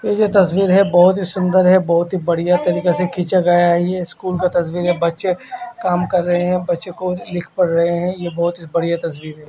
ये डस्टबिन है बोहोत ही सुन्दर है बोहोत ही बढ़िया तरीके से खीचा गया है है ये स्कूल डस्टबिन है बच्चे कम कर रहे है बच्चे को लिख प् रहे है य बोहोत ही बढ़िया तस्वीर है।